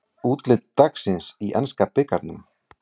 Úrslit dagsins í enska bikarnum